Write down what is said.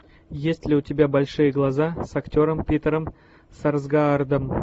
есть ли у тебя большие глаза с актером питером сарсгаардом